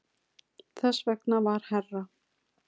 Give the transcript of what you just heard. Þess vegna var herra